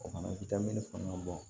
O fana i tɛ min faamuya